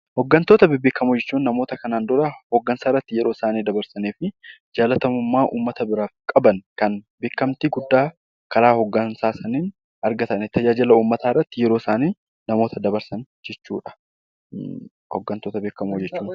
Hooggantoota bebbeekamoo jechuun namoota kana dura hooggansa irratti yeroo isaanii dabarsanii fi jaalatamummaa uummata biraa qaban kan beekamtii guddaa kan karaa hoggansaa tajaajila uummata irratti argatan yeroo isaanii dabarsan yeroo isaanii.